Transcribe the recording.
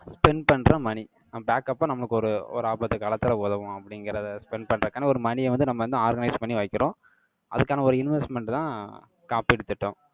spend பண்ற money. அஹ் backup ஆ, நமக்கு ஒரு, ஒரு ஆபத்து காலத்துல உதவும், அப்படிங்கிறதை, spend பண்றதுக்கான, ஒரு money ய வந்து, நம்ம வந்து, organise பண்ணி வைக்கிறோம். அதுக்கான, ஒரு investment தான், காப்பீட்டு திட்டம்.